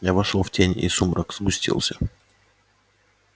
я вошёл в тень и сумрак сгустился